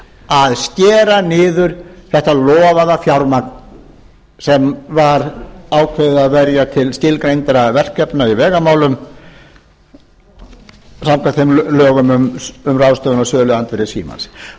að skera niður þetta lofaða fjármagn sem var ákveðið að verja til skilgreindra verkefna í vegamálum samkvæmt þeim lögum um ráðstöfun á söluandvirði símans